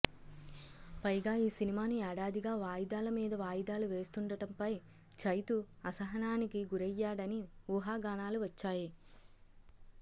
పైగా ఈ సినిమాను ఏడాదిగా వాయిదాల మీద వాయిదాలు వేస్తుండటంపై చైతూ అసహనానికి గురయ్యాడని ఊహాగానాలు వచ్చాయి